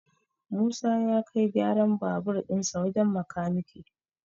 Musa ya kai gyaran babur dinsa wajen makanike